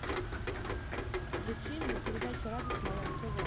включи мне передачу радость моя на тв